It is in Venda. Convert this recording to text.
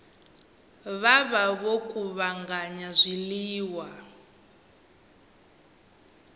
vha vha vho kuvhanganya zwiḽiwa